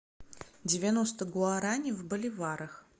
девяносто гуарани в боливарах